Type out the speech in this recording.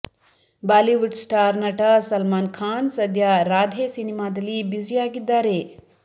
Bollywood star ನಟ ಸಲ್ಮಾನ್ ಖಾನ್ ಸದ್ಯ ರಾಧೆ ಸಿನಿಮಾದಲ್ಲಿ ಬ್ಯುಸಿಯಾಗಿದ್ದಾರೆ